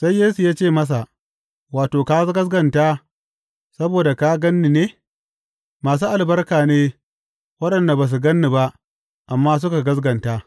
Sai Yesu ya ce masa, Wato ka gaskata saboda ka gan ni ne, masu albarka ne waɗanda ba su gan ni ba, amma suka gaskata.